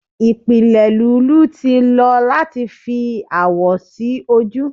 ipile lulú ti lo lati fi awọ si oju